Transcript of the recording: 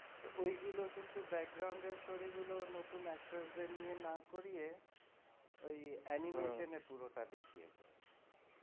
ওইগুলো কিন্তু background এর story গুলো নতুন actor দের নিয়ে না করিয়ে ওই animation এ পুরোটা দেখিয়েছে।